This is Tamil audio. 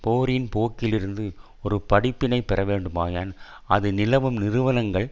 போரின் போக்கிலிருந்து ஒரு படிப்பினை பெற வேண்டுமாயின் அது நிலவும் நிறுவனங்கள்